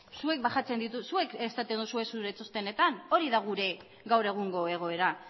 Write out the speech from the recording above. zuek esaten duzue zuen txostenetan hori da gure gaur egungo egoera